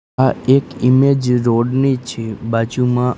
આ એક image road ની છે બાજુમાં.